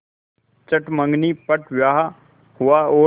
चट मँगनी पट ब्याह हुआ और